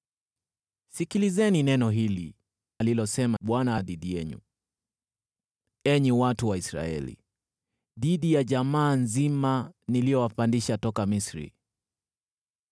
Sikilizeni neno hili alilosema Bwana dhidi yenu, enyi watu wa Israeli, dhidi ya jamaa nzima niliowapandisha toka Misri: